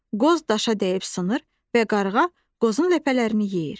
Qoz daşa dəyib sınır və qarğa qozun ləpələrini yeyir.